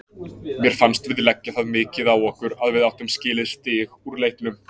Mér fannst við leggja það mikið á okkur að við áttum skilið stig úr leiknum.